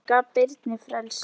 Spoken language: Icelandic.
Hann gaf Birni frelsi.